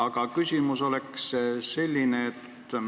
Aga küsimus on selline.